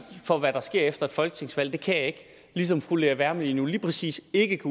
for hvad der sker efter et folketingsvalg nej det kan jeg ikke ligesom fru lea wermelin lige præcis ikke